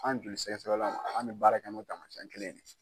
An joli sɛgɛsɛgɛlaw an mɛ baara kɛ n'o taamasiyɛn kelen ne ye.